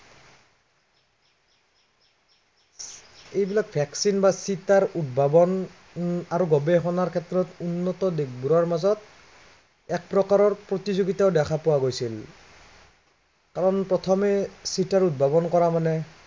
এইবিলাক vaccine বা চিটাৰ উদ্ভাৱন আৰু গৱেষণাৰ ক্ষেত্ৰত উন্নত দেশবোৰৰ মাজত, এক প্ৰকাৰৰ প্ৰতিযোগিতও দেখা পোৱা গৈছিল। কাৰন প্ৰথমে চিটা উদ্ভাৱন কৰা মানে